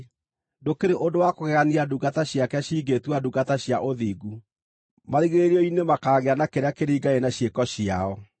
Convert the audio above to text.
Ndũkĩrĩ ũndũ wa kũgegania ndungata ciake cingĩĩtua ndungata cia ũthingu. Marigĩrĩrio-inĩ makaagĩa na kĩrĩa kĩringaine na ciĩko ciao.